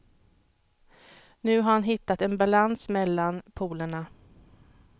Nu har han hittat en balans mellan polerna.